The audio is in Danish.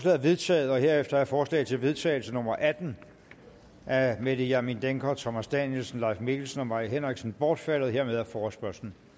er vedtaget herefter er forslag til vedtagelse nummer v atten af mette hjermind dencker thomas danielsen leif mikkelsen og mai henriksen bortfaldet dermed er forespørgslen